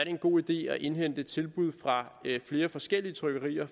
en god idé at indhente tilbud fra flere forskellige trykkerier